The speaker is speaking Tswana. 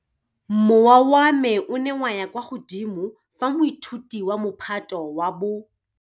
Mowa wa me o ne wa ya kwa godimo fa moithuti wa Mophato wa bo.